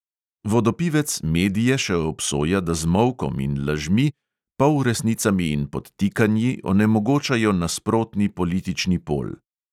Vodopivec medije še obsoja, da z molkom in lažmi, polresnicami in podtikanji onemogočajo nasprotni politični pol.